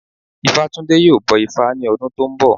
Ifátúndé yóò bọ ifá ní ọdún tó ń bọ̀